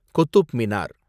Qutub Minar